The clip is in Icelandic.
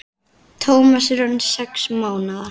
Tómas er orðinn sex mánaða.